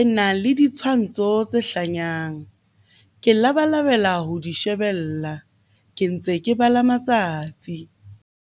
e nang le ditshwantsho tse hlanyang. Ke labalabela ho di shebella, ke ntse ke bala matsatsi.